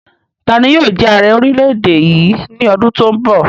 Tani yóò jẹ ààrẹ orílẹ̀-èdè yìí ní ọdún to n bọ̀?